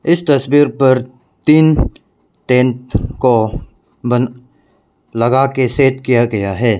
इस तस्वीर पर तीन टेंट को बन लगा के सेट किया गया है।